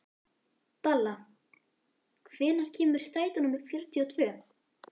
Dalla, hvenær kemur strætó númer fjörutíu og tvö?